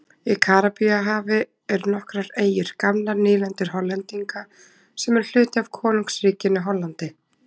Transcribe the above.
Í Karíbahafi eru nokkrar eyjur, gamlar nýlendur Hollendinga, sem eru hluti af Konungsríkinu Hollandi.